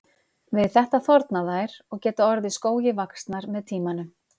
Við þetta þorna þær og geta orðið skógi vaxnar með tímanum.